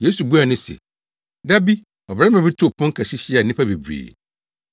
Yesu buaa no se, “Da bi, ɔbarima bi too pon kɛse hyiaa nnipa bebree.